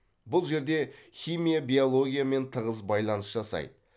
бұл жерде химия биологиямен тығыз байланыс жасайды